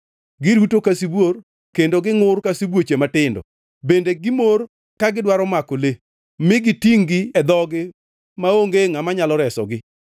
Giruto ka sibuor kendo gingʼur ka sibuoche matindo, bende gimor ka gidwaro mako le, mi gitingʼ-gi e dhogi maonge ngʼama nyalo resogi.